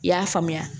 I y'a faamuya